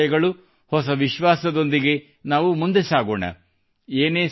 ಹೊಸ ಆಶಯಗಳು ಹೊಸ ವಿಶ್ವಾಸದೊಂದಿಗೆ ನಾವು ಮುಂದೆ ಸಾಗೋಣ